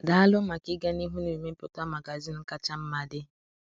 Daalụ maka ịga n’ihu na-emepụta magazin kacha mma dị.